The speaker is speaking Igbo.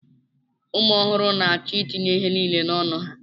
Ụmụ ọhụrụ na-achọ itinye ihe niile n'ọnụ ha